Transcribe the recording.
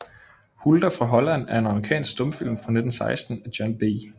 Hulda fra Holland er en amerikansk stumfilm fra 1916 af John B